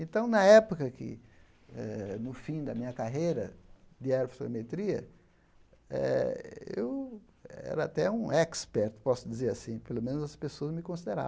Então, na época que eh, no fim da minha carreira de aerofotogrametria eh, eu era até um expert, posso dizer assim, pelo menos as pessoas me